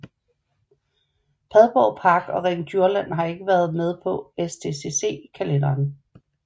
Padborg Park og Ring Djursland har ikke været med på STCC kalenderen